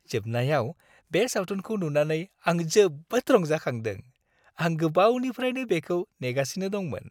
जोबनायाव बे सावथुनखौ नुनानै आं जोबोद रंजाखांदों। आं गोबावनिफ्राय बेखौ नेगासिनो दंमोन।